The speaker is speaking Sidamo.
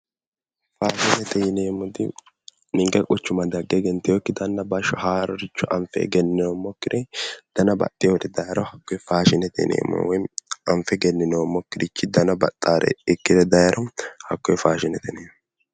Faashinete yineemmoti ninke quchuma dagge egenteyokkiti haarore anfe egenninoommokkire dana baxxeyori dayro hakkoye faashinete yineemmo woyimmi anfe egenninoommokkirichi dana baxxaari dayro hakkoye faashinete yineemmo